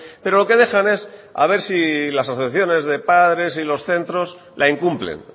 pero lo que dejan es a ver si las asociaciones de padres y los centros la incumplen